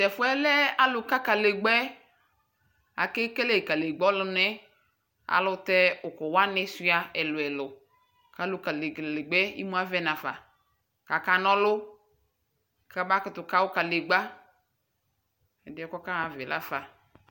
Tɛfuɛ lɛ aluka kalegbaɛ amekele klegba ayɔlunɛ aluutɛ ukuwani shua ɛluɛlu imuavɛ nafa kaka ɔlu kamakutu kawu kalegba, ɛdiɛ kɔkaɣa ayavaɛ lafa